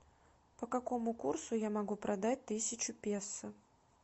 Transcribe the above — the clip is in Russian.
по какому курсу я могу продать тысячу песо